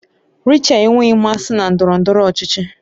Rachel enweghị mmasị na ndọrọ ndọrọ ọchịchị